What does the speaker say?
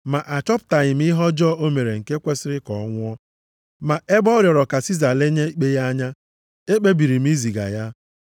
Ma achọpụtaghị m ihe ọjọọ o mere nke kwesiri ka ọ nwụọ. Ma ebe ọ rịọrọ ka Siza lenye ikpe ya anya, ekpebiri m iziga ya.